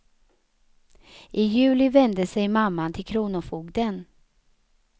I juli vände sig mamman till kronofogden.